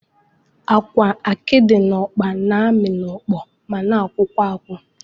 Agwa, akidi na ọkpa na-amị n'okpo ma na-akwụkwa akwụ